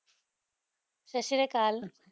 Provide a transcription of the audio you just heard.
ਸਸ੍ਰੀਆਕਲ